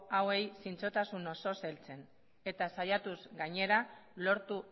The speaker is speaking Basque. hauei zintzotasun osoz heltzen eta saiatuz gainera lortu